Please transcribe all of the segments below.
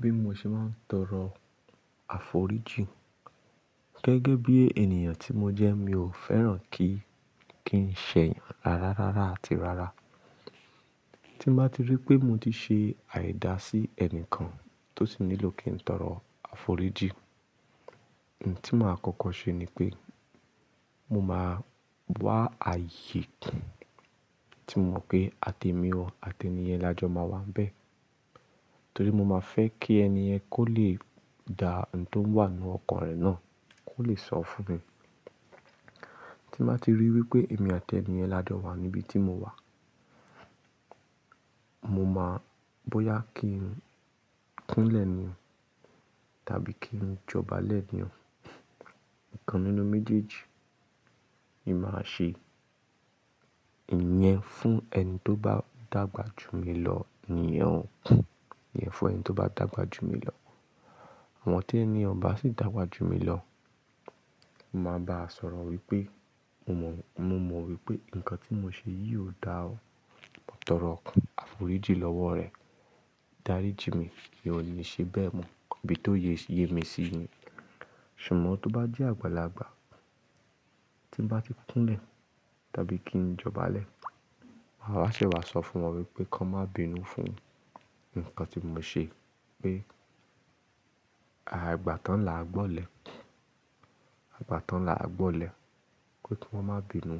Bí mo ṣe máa ń tọrọ àforíjì gẹ́gẹ́ bí ènìyàn tí mo jẹ́ mi ò fẹ́ràn kí n ṣẹ yàn rárá rárá àti rárá. Tí n bá ti rí pé mo ti ṣe àìda sí ẹnìkan tó si nílò kí n tọrọ àforíjì, ohun tí màá kọ́kọ́ ṣe ni pé mo máa wá ààyè tí mo mọ̀ pé àti èmi àti ènìyẹn la jọ máa wà bẹ́ẹ̀. Torí mo máa fẹ́ kí ènìyẹn kó lè da ohun tó wà nínú ọkàn rẹ̀ náà kó lè sọ fún mi. Tí n bá ti rí wípé èmi àti ènìyẹn la jọ wà níbi tí mo wà, mo máa bóyá kí n kúnlẹ̀ ni o, tàbí kí n jọbalẹ ni o. Ikan nínú méjèèjì ni màá ṣe. Ìyẹn fún ẹni tó bá dàgbà jù mi lọ nìyẹn, ìyẹn fún ẹni tó bá dàgbà jù mi lọ. Àmọ tí ẹni yẹn o ba sì dàgbà jù mi lọ, mo máa bá sọ̀rọ̀ wípé mo mọ̀ wípé ǹkan tí mo ṣe yìí ò dá o, mo tọrọ àforíjì lọ́wọ́ rẹ. Dáríji mi mì o ni ṣe bẹ́ẹ̀ mọ́, ibí tóye mí sí ni. Ṣùgbọ́n tó bá jẹ́ àgbàlagbà tí n bá ti kúnlẹ̀ tàbí kí ń jọbalẹ̀, àwa ṣè wá sọ fún wọn wípé kan má bínú fún ǹkan tí mo ṣe pé, àìgbà tán là á gbọ́lẹ̀, àìgbà tán là á gbọ́lẹ̀. Kí wọ́n má bínú,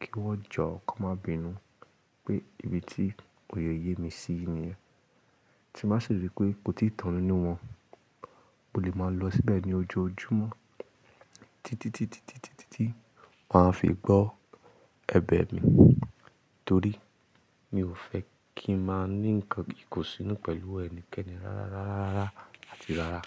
kí wọ́n jọ kàn má bínú pé ibi tí òye ye mí sí nìyẹn. Tí n màá si rí pé kò tíì tàn nínú wọ́n, mo lè mọ lọ síbẹ̀ ní ojoojúmọ́ títí títí wọ́n á fi gbọ́ ẹbẹ̀ mi. Torí mi ò fẹ́ kí n máa ní ǹkan kíkún sínú pẹ̀lú ẹnikẹ́ni rárá rárá rárá àti rárá.